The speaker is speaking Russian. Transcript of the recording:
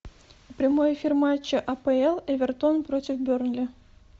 прямой эфир матча апл эвертон против бернли